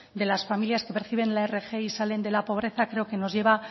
de las familias que perciben la rgi salen de la pobreza creo que nos lleva